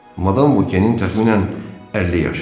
Madam Vokenin təxminən 50 yaşı var.